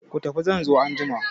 Ku tafi zan zo anjima!